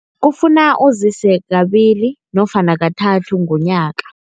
Kufuna uzise kabili nofana kathathu ngonyaka.